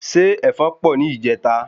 Ṣé ẹfọn pọ ni ìjeta?